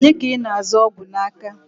Onye ka ị na-azụ ọgwụ n'aka?